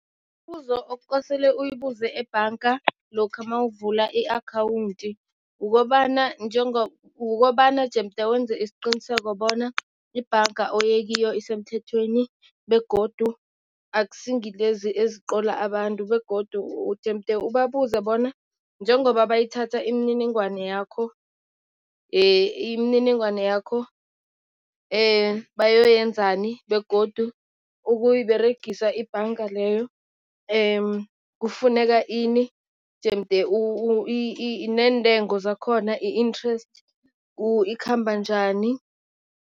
Imibuzo okukosele uyibuze ebhanga lokha mawuvula i-akhawunti ukobana ukobana jemde wenze isiqiniseko bona ibhanga oyekiyo isemthethweni begodu akusi ngilezi eziqola abantu. Begodu jemde ubabuze bona njengoba bayithatha imininingwane yakho, imininingwane yakho bayoyenzani begodu ukuyiberegisa ibhanga leyo kufuneka ini jemde neentengo zakhona, i-interest ikhamba njani.